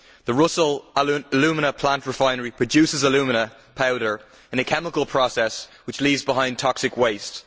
The Rusal Alumina plant refinery produces alumina powder, in a chemical process which leaves behind toxic waste.